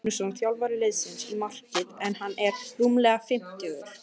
Þá kom Þorsteinn Magnússon þjálfari liðsins í markið en hann er rúmlega fimmtugur.